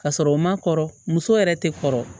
Ka sɔrɔ u ma kɔrɔ muso yɛrɛ tɛ kɔrɔ